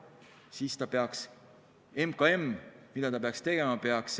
Mida peaks siis MKM tegema?